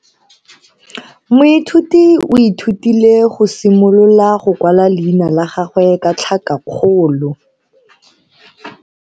Moithuti o ithutile go simolola go kwala leina la gagwe ka tlhakakgolo.